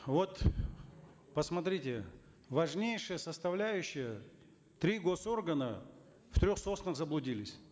вот посмотрите важнейшая составляющая три госоргана в трех соснах заблудились